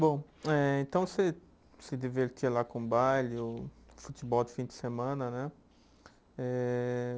Bom, eh então você se divertia lá com o baile, o futebol de fim de semana, né? Eh